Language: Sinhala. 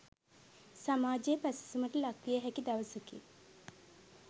සමාජයේ පැසසුමට ලක්විය හැකි දවසකි.